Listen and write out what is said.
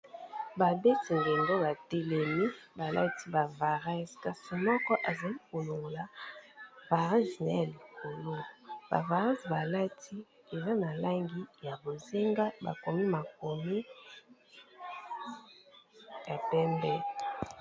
Ba beti ndendo ba telemi balati ba vareuse, kasi moko azali ko longola vareuse naye ya likolo ba vareuse balati eza na langi ya bozenga bakomi makomi ya pembe.